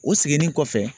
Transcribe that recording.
O seginni kɔfɛ